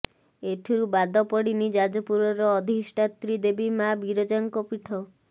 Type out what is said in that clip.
ଏଥିରୁ ବାଦ ପଡିନି ଯାଜପୁରର ଅଧିଷ୍ଠାତ୍ରୀ ଦେବୀ ମା ବିରଜାଙ୍କ ପିଠ